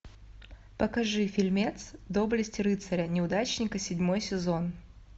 покажи фильмец доблесть рыцаря неудачника седьмой сезон